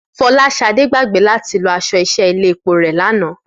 Fọláṣadé gbàgbé láti lọ aṣọ iṣẹ́ ilé epo rẹ̀ lánàá